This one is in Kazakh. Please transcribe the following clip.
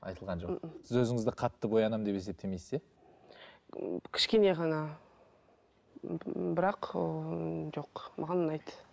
айтылған жоқ сіз өзіңізді қатты боянамын деп есептемейсіз иә кішкене ғана ммм бірақ ыыы жоқ маған ұнайды